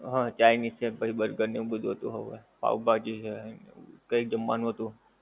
હા, ચાઇનિઝ ને પછી બર્ગર ને એવું બધુ હતું, પાંવ ભાજી ને કાંઈ જમવાનું હતું.